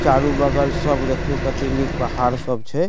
चारो बगल सब देखियो केते निक पहाड़ सब छै।